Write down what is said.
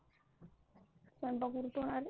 स्वयंपाक घरी करून आली.